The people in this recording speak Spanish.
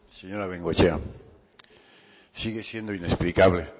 señora bengoechea sigue siendo inexplicable